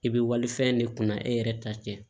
I bɛ walifɛn de kunna e yɛrɛ ta tɛ